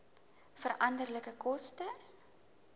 veranderlike koste